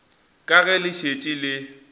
ka ge le šetše le